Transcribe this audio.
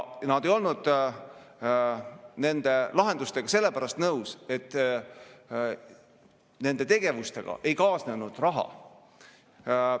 Nad ei olnud nende lahendustega nõus sellepärast, et nende tegevustega ei kaasnenud raha.